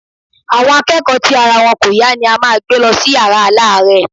Àwọn akẹ́kọ̀ọ́ tí ara wọn kò yá ni a máa gbé lọ sí yàrá aláàárẹ̀.